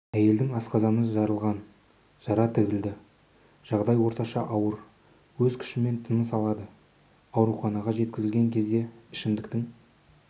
әйелдің асқазаны жарылған жара тігілді жағдайы орташа ауыр өз күшімен тыныс алады ауруханаға жеткізілген кезде ішімдіктің